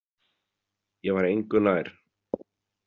Ég var engu nær.